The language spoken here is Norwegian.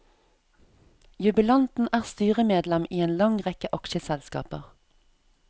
Jubilanten er styremedlem i en lang rekke aksjeselskaper.